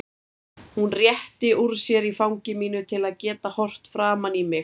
Hún rétti úr sér í fangi mínu til að geta horft framan í mig.